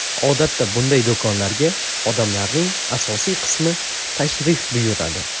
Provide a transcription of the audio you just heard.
Odatda bunday do‘konlarga odamlarning asosiy qismi tashrif buyuradi.